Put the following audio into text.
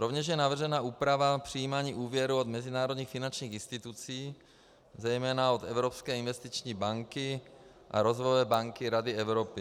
Rovněž je navržena úprava přijímání úvěrů od mezinárodních finančních institucí, zejména od Evropské investiční banky a Rozvojové banky Rady Evropy.